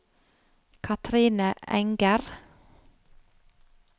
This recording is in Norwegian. Kathrine Enger